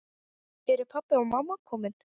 Eru pabbi og mamma komin?